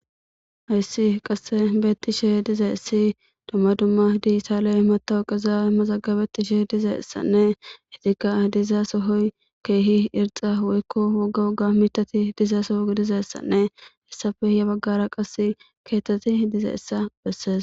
Hayiss qase betishshe de'izayiss dumma dumma digitale matawuqazza mazagabetishshe dizayisanne etikka dizo soyi kehi irixxa woyikko woga woga miththati diza Soo gidizayissanne hessappe